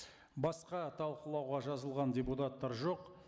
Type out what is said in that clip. басқа талқылауға жазылған депутаттар жоқ